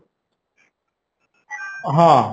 ହଁ